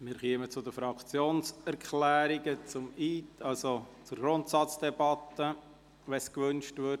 Wir kommen zu den Fraktionserklärungen in der Grundsatzdebatte, sofern solche gewünscht werden.